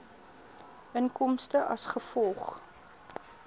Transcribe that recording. inkomste as gevolg